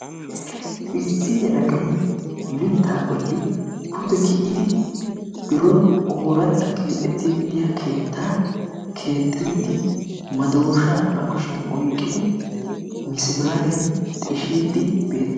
Issi yelagay mittaa bolli pude gi"idi biron ooratta keexettiiddi de"iyaa keettaa keexxiiddi madooshaa ba kushiyan oyqqidi misimaariyan xishiiddii beettes..